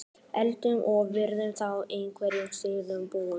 Berghildur: Og verður þá í einhverjum svakalegum búning?